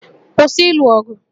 Kwụsị ịlụ ọgụ!